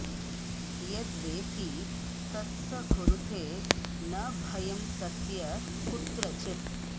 यद् वेत्ति तत्स कुरुते न भयं तस्य कुत्रचित्